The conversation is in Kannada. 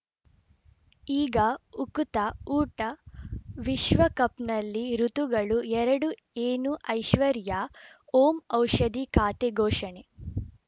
ಈಗ ಉಕುತ ಊಟ ವಿಶ್ವಕಪ್‌ನಲ್ಲಿ ಋತುಗಳು ಎರಡು ಏನು ಐಶ್ವರ್ಯಾ ಓಂ ಔಷಧಿ ಖಾತೆ ಘೋಷಣೆ